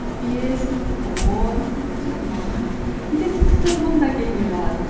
бес минут он минут жиырма минут кейде тіпті тұрғым да келмей қалады